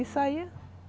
E saía.